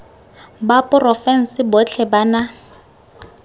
ba porofense botlhe ba na